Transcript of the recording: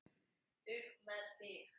Upp með þig!